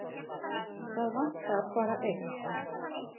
Það vantar bara eitt.